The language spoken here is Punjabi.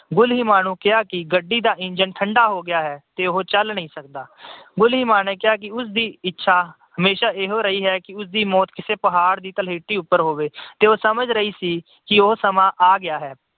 ਗੁਲੀਮਾ ਨੂੰ ਕਿਹਾ ਕਿ ਗੱਡੀ ਦਾ ਇੰਜਣ ਠੰਢਾ ਹੋ ਗਿਆ ਹੈ ਤੇ ਉਹ ਚਲ ਨਹੀਂ ਸਕਦਾ। ਗੁਲੀਮਾ ਨੇ ਕਿਹਾ ਕਿ ਉਸਦੀ ਇੱਛਾ ਹਮੇਸ਼ਾ ਇਹ ਰਹੀ ਹੈ ਕਿ ਉਸਦੀ ਮੌਤ ਕਿਸੇ ਪਹਾੜ ਦੀ ਉਤੇ ਹੋਵੇ ਤੇ ਉਹ ਸਮਝ ਰਹੀ ਸੀ ਕਿ ਉਹ ਸਮਾਂ ਆ ਗਿਆ ਹੈ।